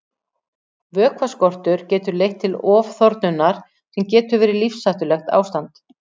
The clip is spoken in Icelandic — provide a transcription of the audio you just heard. Vökvaskortur getur leitt til ofþornunar sem getur verið lífshættulegt ástand.